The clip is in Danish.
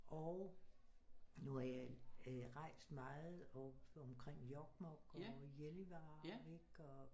Og når jeg øh rejst meget op omkring Jokkmok og Gällivare ikke og